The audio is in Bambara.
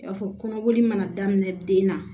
I y'a fɔ kɔnɔboli mana daminɛ den na